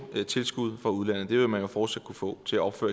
tilskud fra udlandet det vil man jo fortsat kunne få til at opføre